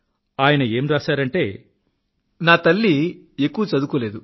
ఆయన ఏం రాశారంటే నా తల్లి ఎక్కువ చదుదుకోలేదు